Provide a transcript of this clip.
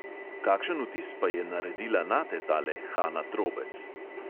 "Kakšen vtis pa je naredila nate tale hana trobec?"